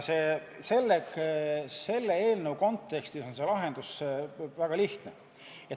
Selle eelnõu kontekstis on lahendus väga lihtne.